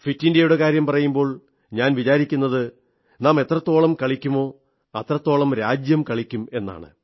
fit ഇന്ത്യയുടെ കാര്യം പറയുമ്പോൾ ഞാൻ വിചാരിക്കുന്നത് നാം എത്രത്തോളം കളിക്കുമോ അത്രയ്ക്ക് രാജ്യം കളിക്കും എന്നാണ്